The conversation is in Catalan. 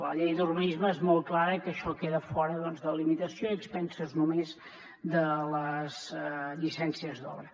la llei d’urbanisme és molt clara això queda fora de limitació i a càrrec només de les llicències d’obra